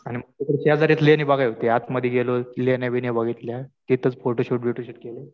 तिथून शेजारीच लेणी बघायला होती. आतमध्ये गेलो. लेण्या बिण्या बघितल्या. तिथंच फोटोशूट बिटोशूट केलं.